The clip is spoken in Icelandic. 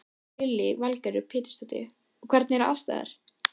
Lillý Valgerður Pétursdóttir: Og hvernig eru aðstæður?